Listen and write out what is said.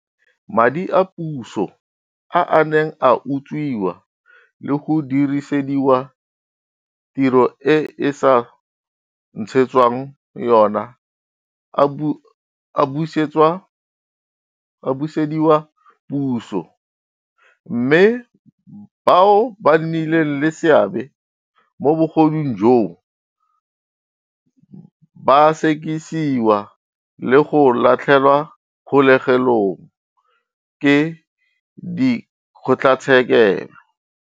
Madi a puso a a neng a utswiwa le go dirisediwa tiro e a sa ntshetswang yona a busediwa puso mme bao ba nnileng le seabe mo bogodung joo ba a sekisiwa le go latlhelwa kgolegelong ke dikgotlatshekelo.